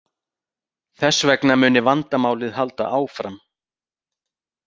Þess vegna muni vandamálið halda áfram